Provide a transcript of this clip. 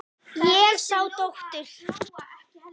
Ég sá dóttur.